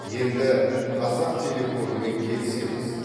енді қазақтелекоммен келісеміз